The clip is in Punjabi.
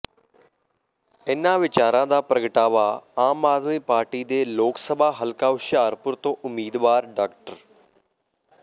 ਇਨ੍ਹਾਂ ਵਿਚਾਰਾਂ ਦਾ ਪ੍ਰਗਟਾਵਾ ਆਮ ਆਦਮੀ ਪਾਰਟੀ ਦੇ ਲੋਕ ਸਭਾ ਹਲਕਾ ਹੁਸ਼ਿਆਰਪੁਰ ਤੋਂ ਉਮੀਦਵਾਰ ਡਾ